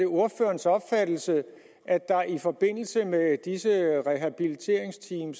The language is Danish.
er ordførerens opfattelse at der i forbindelse med disse rehabiliteringsteam